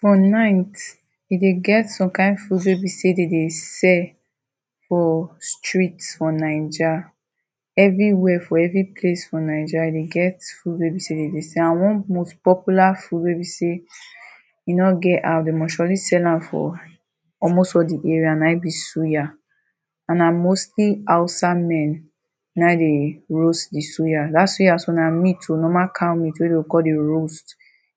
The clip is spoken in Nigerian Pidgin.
For night, dey dey get some kain food wey be say dem dey sell for street for Naija. Everywhere, for every place for Naija, dey get food wey be say dey dey sell and one most popular food wey be say e no get how, dey must surely sell am for almost all di area na e be suya; and na mostly Hausa men, na e dey roast di suya. Dat suya sometimes na meat o, normal cow meat wey dey go kon dey roast.